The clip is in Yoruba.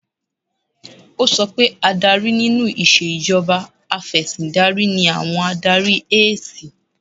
Ó sọ pé adarí nínú ìṣèjọba Afẹ̀sìndarí ni àwọn Adarí ẹ̀siy